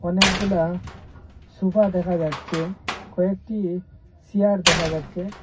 অনেকগুলা সোফা দেখা যাচ্ছে কয়েকটি সিয়ার দেখা যাচ্ছে।